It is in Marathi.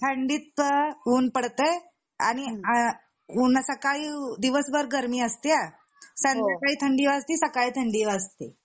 थंडीत ऊन पडताये आणि अन सकाळी दिवसभर गर्मी असती संध्याकाळी थंडी वाजते सकाळी थंडी वाजते